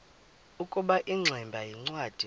ukuba ingximba yincwadi